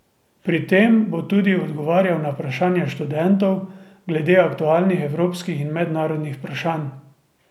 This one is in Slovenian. Pri tem bo tudi odgovarjal na vprašanja študentov glede aktualnih evropskih in mednarodnih vprašanj.